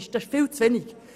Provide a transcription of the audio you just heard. Das ist viel zu wenig.